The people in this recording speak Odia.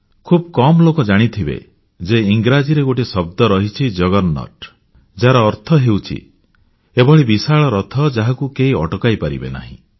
ଖୁବ୍ କମ ଲୋକ ଜାଣିଥିବେ ଯେ ଇଂରାଜୀରେ ଗୋଟିଏ ଶବ୍ଦ ରହିଛି ଜଗରନାଟ ଯାହାର ଅର୍ଥ ହେଉଛି ଏଭଳି ବିଶାଳ ରଥ ଯାହାକୁ କେହି ଅଟକାଇ ପାରିବେ ନାହିଁ